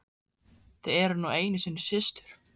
Þið eruð nú einu sinni systur.